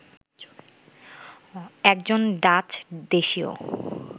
একজন ডাচ দেশীয়